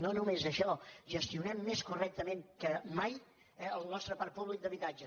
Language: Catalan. no només això gestionem més correctament que mai el nostre parc públic d’habitatge